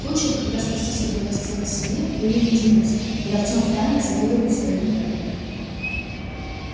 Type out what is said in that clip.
случаев когда спастись удалось целой семье были единицы и артем втайне завидовал своему другу